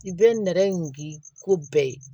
I bɛ nɛrɛ in di ko bɛɛ ye